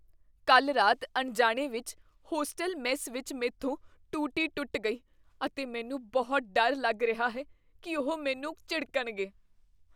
ਕੱਲ੍ਹ ਰਾਤ ਅਣਜਾਣੇ ਵਿੱਚ ਹੋਸਟਲ ਮੈੱਸ ਵਿੱਚ ਮੈਂਥੋਂ ਟੂਟੀ ਟੁੱਟ ਗਈ ਅਤੇ ਮੈਨੂੰ ਬਹੁਤ ਡਰ ਲੱਗ ਰਿਹਾ ਹੈ ਕੀ ਉਹ ਮੈਨੂੰ ਝਿੜਕਣਗੇ।